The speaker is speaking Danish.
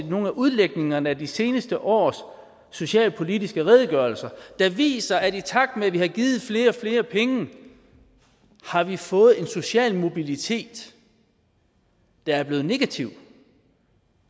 nogle af udlægningerne af de seneste års socialpolitiske redegørelser der viser at i takt med at vi har givet flere og flere penge har vi fået en social mobilitet der er blevet negativ